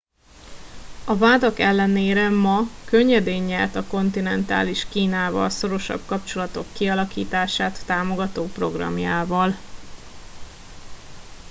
a vádak ellenére ma könnyedén nyert a kontinentális kínával szorosabb kapcsolatok kialakítását támogató programjával